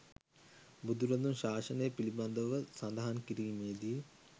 බුදුරදුන් ශාසනය පිළිබඳව සඳහන් කිරීමේදී